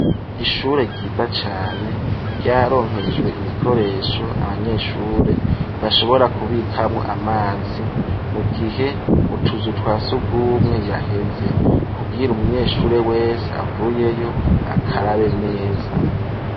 Ishure ryiza cane ryararonkejwe ibikoresho abanyeshure bashobora kubikamwo amazi mu gihe mu tuzu twasugumwe yaheze kugira umunyeshure wese avuyeyo akarabe neza.